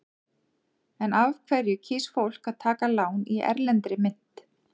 En af hverju kýs fólk að taka lán í erlendri mynt?